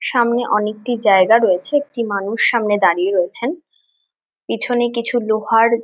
সামনে অনেকটি জায়গা রয়েছে একটি মানুষ সামনে দাঁড়িয়ে রয়েছেন পিছনে কিছু লোহার--